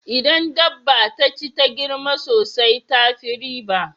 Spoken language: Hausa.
Idan dabba taci ta girma sosai tafi riba